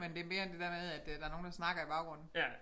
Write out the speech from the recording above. Men det mere end det der med at øh der nogen der snakker i baggrunden